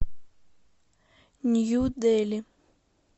нью дели